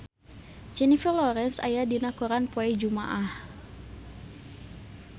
Jennifer Lawrence aya dina koran poe Jumaah